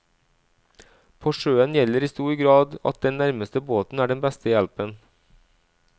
På sjøen gjelder i stor grad at den nærmeste båten er den beste hjelpen.